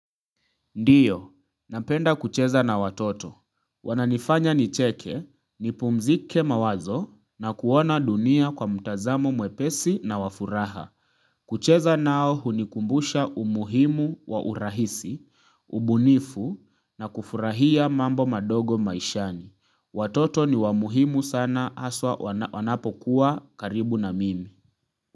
Ndiyo, napenda kucheza na watoto. Wananifanya nicheke, nipumzike mawazo na kuona dunia kwa mtazamo mwepesi na wafuraha. Kucheza nao hunikumbusha umuhimu wa urahisi, ubunifu na kufurahia mambo madogo maishani. Watoto ni wamuhimu sana haswa wanapokuwa karibu na mimi.